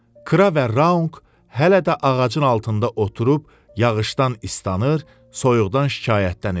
Kra və Raunq hələ də ağacın altında oturub yağışdan islanır, soyuqdan şikayətlənirlər.